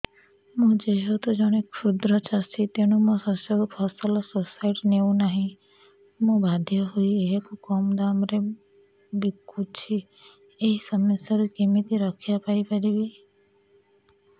ମୁଁ ଯେହେତୁ ଜଣେ କ୍ଷୁଦ୍ର ଚାଷୀ ତେଣୁ ମୋ ଶସ୍ୟକୁ ଫସଲ ସୋସାଇଟି ନେଉ ନାହିଁ ମୁ ବାଧ୍ୟ ହୋଇ ଏହାକୁ କମ୍ ଦାମ୍ ରେ ବିକୁଛି ଏହି ସମସ୍ୟାରୁ କେମିତି ରକ୍ଷାପାଇ ପାରିବି